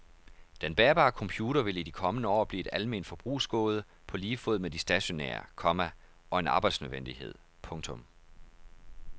Den bærbare computer vil i de kommende år blive et alment forbrugsgode på lige fod med de stationære, komma og en arbejdsnødvendighed. punktum